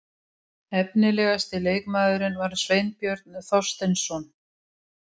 Efnilegasti leikmaðurinn var Sveinbjörn Þorsteinsson.